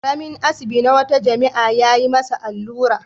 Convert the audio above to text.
Ƙaramain asibi na wata jami'a ya yi masa allura.